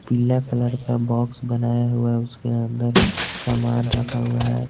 पीला कलर का बॉक्स बनाया हुआ है उसके अंदर सामान रखा हुआ है।